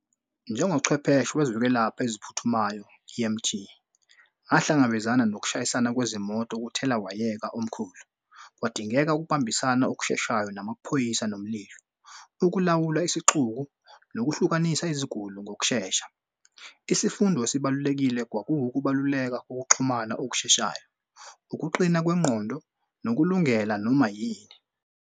Njengochwepheshe wezokwelapha eziphuthumayo E_M_T ahlangabezana nokushayisana kwezimoto kuthelawayeka omkhulu, kwadingeka ukubambisana okusheshayo namaphoyisa nomlilo, ukulawula isixuku nokuhlukanisa iziguli ngokushesha. Isifundo esibalulekile kwakuwukubaluleka kokuxhumana okusheshayo, ukuqina kwengqondo, ngokulungela noma yini.